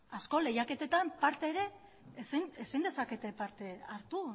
askok lehiaketetan parte ere ezin dezakete parte hartu